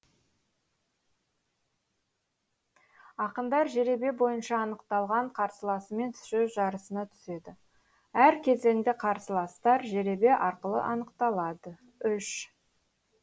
ақындар жеребе бойынша анықталған қарсыласымен сөз жарысына түседі әр кезеңде қарсыластар жеребе арқылы анықталады үш